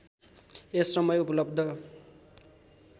यस समय उपलब्ध